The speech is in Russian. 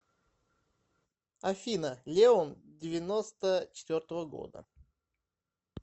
афина леон девяносто четвертого года